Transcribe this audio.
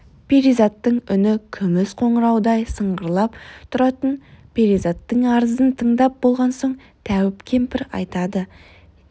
перизаттың үні күміс қоңыраудай сыңғырлап тұратын перизаттың арызын тыңдап болған соң тәуіп кемпір айтады ей сор